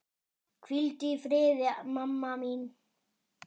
Hvíldu í friði, mamma mín.